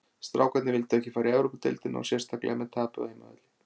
Strákarnir vildu ekki fara í Evrópudeildina og sérstaklega með tapi á heimavelli.